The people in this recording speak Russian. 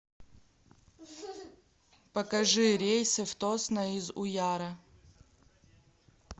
покажи рейсы в тосно из уяра